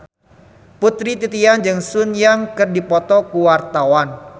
Putri Titian jeung Sun Yang keur dipoto ku wartawan